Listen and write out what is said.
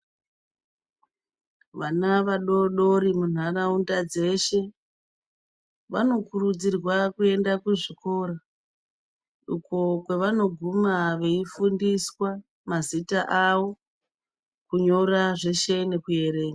Vana vadoodori munharaunda dzeshe vanokurudzirwa kuenda kuzvikora uko kwevanoguma veifundiswa mazita avo kunyora zveshe nekuerenga.